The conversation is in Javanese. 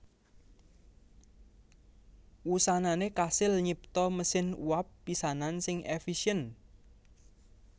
Wusanané kasil nyipta mesin uap pisanan sing èfisièn